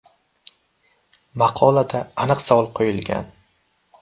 Maqolada aniq savol qo‘yilgan.